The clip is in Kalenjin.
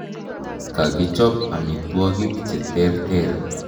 Ka kichop amitwogik che terter.